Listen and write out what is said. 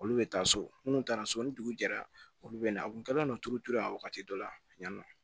Olu bɛ taa so minnu taara so ni dugu jɛra olu bɛ na a kun kɛlen don turuturu la wagati dɔ la yan nɔ